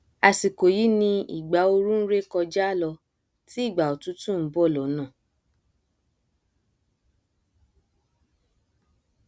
àsìkò yí ni ìgbà ooru nré kọjá lọ tí ìgbà òtútù nbọ lọnà